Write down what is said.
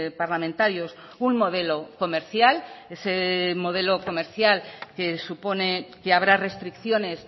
parlamentarios un modelo comercial ese modelo comercial que supone que habrá restricciones